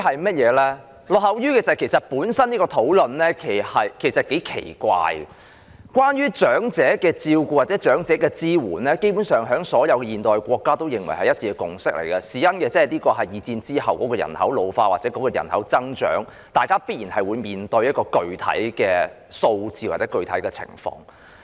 這項討論本身其實是頗奇怪的，關於對長者的照顧或支援，基本上是所有現代國家一致的共識，這是因為第二次世界大戰之後人口老化或人口增長，大家必然會面對的一個具體數字或情況。